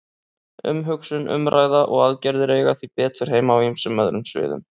Umhugsun, umræða og aðgerðir eiga því betur heima á ýmsum öðrum sviðum.